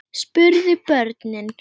spurðu börnin.